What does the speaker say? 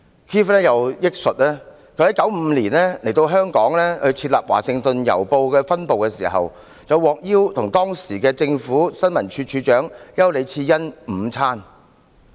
Keith 又憶述，他在1995年來到香港設立《華盛頓郵報》的分部時，獲邀與當時的政府新聞處處長丘李賜恩午餐。